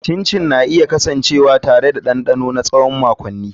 Chin chin na iya kasancewa tare da dandano na tsawon makonni.